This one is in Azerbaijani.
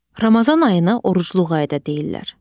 Ramazan ayına orucluq ayı da deyirlər.